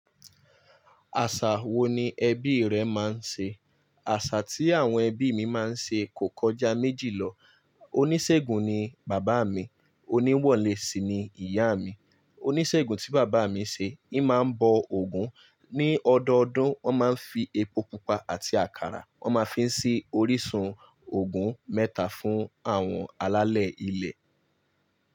Àṣà wo ni ẹbí rẹ máa ń ṣe? Àṣà tí àwọn ẹbí mi máa ń ṣe kò kọjá méjì lọ. Oníṣègùn ni bàbá mi, oníwọ́lẹ́ sí ni ìyá mi. Oníṣègùn tí bàbá mi ṣe, hí máa ń bọ Ògún. Ni ọdọọdún, wọ́n máa ń fi epo pupa àti àkàrà, wọ́n máa fi sí orísun Ògún mẹ́ta fún àwọn alálẹ̀ ilẹ̀